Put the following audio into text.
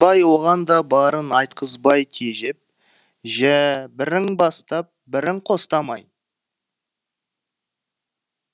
оған да барын айтқызбай тежеп жә бірің бастап бірің қостамай